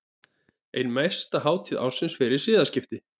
Ein mesta hátíð ársins fyrir siðaskipti.